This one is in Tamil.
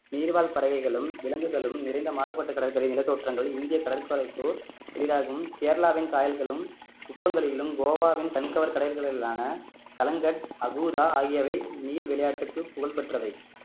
நீர்வாழ் பறவைகளும் விலங்குகளும் நிறைந்த மாறுபட்ட கடற்கரை நிலத்தோற்றங்கள் இந்திய கடற்கரைக்கோர் எழிலாகும் கேரளாவின் காயல்களும் உப்பங்கழிகளும் கோவாவின் கண்கவர் கடைகளில் ஆன கலங்கட் அகூதா ஆகியவை நீர் விளையாட்டுக்கு புகழ் பெற்றவை